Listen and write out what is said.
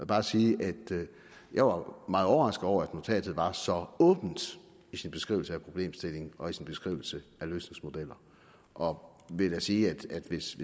bare sige at jeg var meget overrasket over at notatet var så åbent i sin beskrivelse af problemstillingen og i sin beskrivelse af løsningsmodeller og vil da sige at hvis